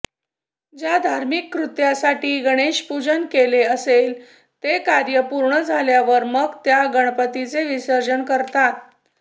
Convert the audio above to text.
ज्या धामिर्क कृत्यासाठी गणेशपूजन केले असेल ते कार्य पूर्ण झाल्यावर मग त्या गणपतीचे विसर्जन करतात